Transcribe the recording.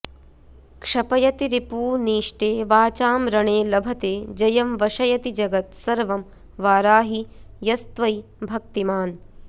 क्षपयति रिपूनीष्टे वाचां रणे लभते जयं वशयति जगत् सर्वं वाराहि यस्त्वयि भक्तिमान्